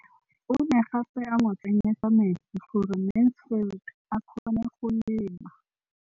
O ne gape a mo tsenyetsa metsi gore Mansfield a kgone go lema.